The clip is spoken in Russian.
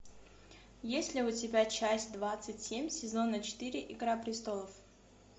есть ли у тебя часть двадцать семь сезона четыре игра престолов